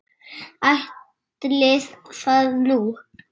Ætli það nú.